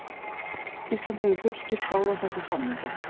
Ísland hefur fullgilt báða þessa samninga.